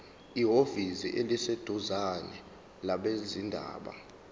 ehhovisi eliseduzane labezindaba